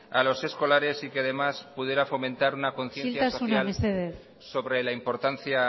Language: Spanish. a los escolares y que además pudiera fomentar una conciencia social sobre la importancia